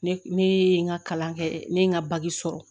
Ne ne ye n ka kalan kɛ ne ye n ka sɔrɔ